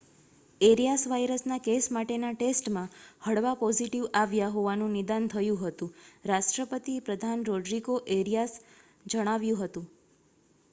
areas વાયરસનાં case માટેનાં ટેસ્ટમાં હળવા પોઝિટિવ આવ્યાં હોવાનું નિદાન થયું હતું રાષ્ટ્રપતિ પ્રધાન રોડરિગો એરિયાસે જણાવ્યું હતું